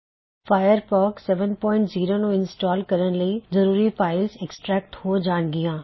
Firefox 70 ਨੂੰ install ਕਰਣ ਲਈ ਜ਼ਰੂਰੀ ਫਾਇਲਜ਼ ਐਕ੍ਸਟ੍ਰੈਕਟ ਹੋ ਜਾਣ ਗੀਆਂ